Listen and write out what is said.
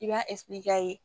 I b'a k'a ye